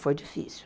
Foi difícil.